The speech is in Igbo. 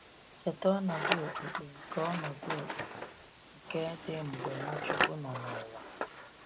Cheta ọnọdụ okpukpe nke ọnọdụ okpukpe nke dị mgbe Nwachukwu nọ n’ụwa.